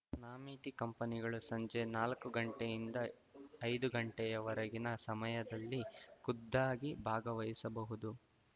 ನಾಮಿತಿ ಕಂಪನಿಗಳು ಸಂಜೆ ನಾಲ್ಕು ಗಂಟೆಯಿಂದ ಐದು ಗಂಟೆಯವರೆಗಿನ ಸಮಯದಲ್ಲಿ ಖುದ್ದಾಗಿ ಭಾಗವಹಿಸಬಹುದು